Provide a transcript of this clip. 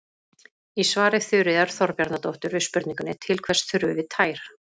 Í svari Þuríðar Þorbjarnardóttur við spurningunni Til hvers þurfum við tær?